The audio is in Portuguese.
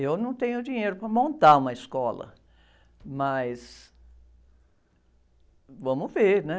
Eu não tenho dinheiro para montar uma escola, mas vamos ver, né?